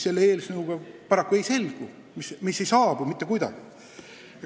Selle eelnõuga paraku ei ole see tagatud mitte kuidagi.